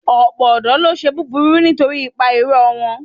Ọ̀pọ̀ ọ̀dọ́ ló ń ṣe búburú nítorí ipa ìrọ̀ wọn.